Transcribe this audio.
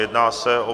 Jedná se o